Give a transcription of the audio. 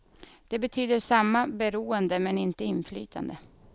Det betyder samma beroende men utan inflytande.